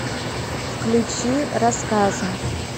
включи рассказы